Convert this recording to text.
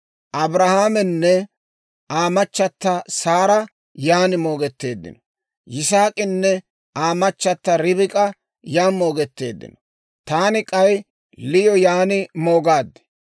Abrahaamenne Aa machata Saara yan moogetteeddino; Yisaak'inne Aa machata Ribik'a yan moogetteeddino; taani k'ay Liyo yan moogaad.